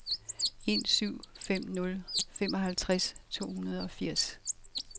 en syv fem nul femoghalvtreds to hundrede og firs